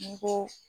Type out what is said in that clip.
N'i ko